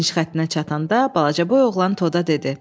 Finiş xəttinə çatanda balacaboy oğlan Toda dedi: